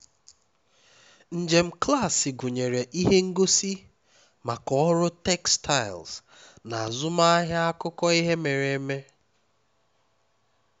njem klaasị gụnyere ihe ngosi maka ọrụ textiles na azụmaahịa akụkọ ihe mere eme